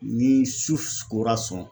Ni su kora sɔn